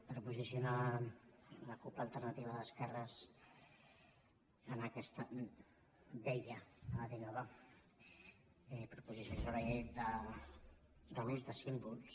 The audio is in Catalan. per posicionar la cup alternativa d’esquerres en aquesta vella anava a dir nova proposició de llei de l’ús de símbols